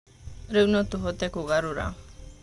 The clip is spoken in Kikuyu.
Rĩu no tũhote kũgarũra.